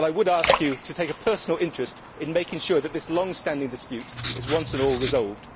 But I would ask you to take a personal interest in making sure that this longstanding dispute is once and for all resolved.